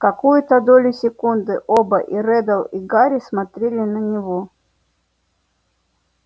какую-то долю секунды оба и реддл и гарри смотрели на него